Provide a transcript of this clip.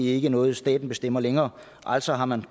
ikke noget staten bestemmer længere altså har man